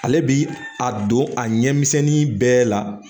Ale bi a don a ɲɛmisɛnni bɛɛ la